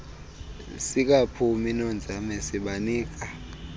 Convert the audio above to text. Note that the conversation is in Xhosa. sikaphumi nonzame sibanika